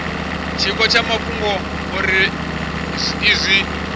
tshiko tsha mafhungo uri izwi